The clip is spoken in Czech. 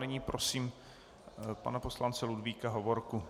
Nyní prosím pana poslance Ludvíka Hovorku.